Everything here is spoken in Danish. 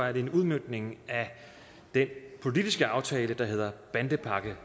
er en udmøntning af den politiske aftale der hedder bandepakke